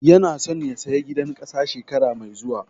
Yana so ya saya gidan ƙasa shekara mai zuwa